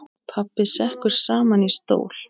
Pabbi sekkur saman í stól.